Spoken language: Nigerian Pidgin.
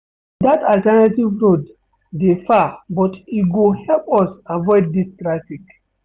Dat alternative route dey far but e go help us avoid dis traffic.